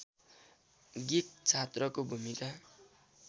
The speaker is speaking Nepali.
गिक छात्रको भूमिका